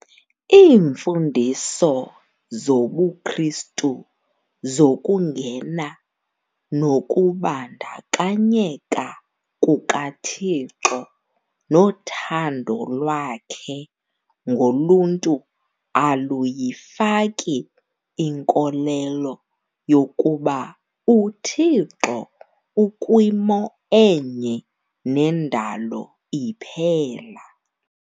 Iimfundiso zobuKristu zokungena nokubandakanyeka kukaThixo nothando lwakhe ngoluntu aluyifaki inkolelo yokuba uThixo ukwimo enye nendalo iphela.